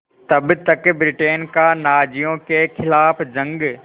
तब तक ब्रिटेन का नाज़ियों के ख़िलाफ़ जंग